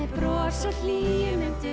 og hlýju muntu